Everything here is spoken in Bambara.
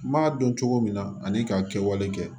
N m'a dɔn cogo min na ani ka kɛwale kɛ